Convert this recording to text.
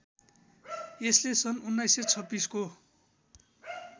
यसले सन् १९२६ को